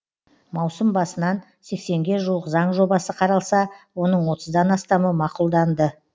маусым басынан сексенге жуық заң жобасы қаралса оның отыздан астамы мақұлданды